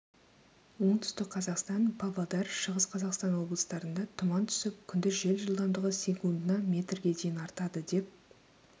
оңтүстік қазақстан павлодар шығыс қазақстан облыстарында тұман түсіп күндіз жел жылдамдығы секундына метрге дейін артады деп